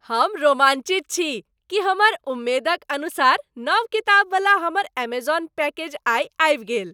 हम रोमाञ्चित छी कि हमर उम्मेदक अनुसार नव किताबवला हमर ऐमजॉन पैकेज आइ आबि गेल।